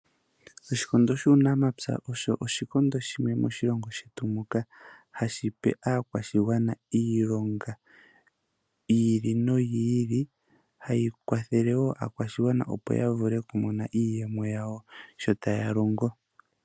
Oshikondo shuunamapya osho oshikondo shimwe moshilongo shetu muka hashipe aakwashigwana iilonga yi ili noyi ili hayi kwathele woo aakwashigwana opo yavule okumona iiyemo yawo aho taya longo.